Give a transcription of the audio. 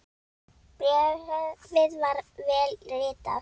Bréfið var vel ritað.